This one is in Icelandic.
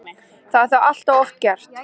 Það er þó allt of oft gert.